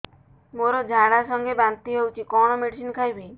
ମୋର ଝାଡା ସଂଗେ ବାନ୍ତି ହଉଚି କଣ ମେଡିସିନ ଖାଇବି